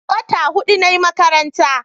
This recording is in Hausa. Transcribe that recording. wata hudu nayi a makaranta